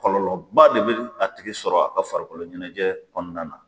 Kɔlɔlɔba de bɛ a tigi sɔrɔ a ka farikolo ɲɛnajɛ kɔnɔna na.